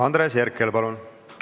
Andres Herkel, palun!